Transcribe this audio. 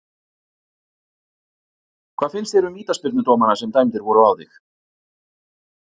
Hvað finnst þér um vítaspyrnudómana sem dæmdir voru á þig?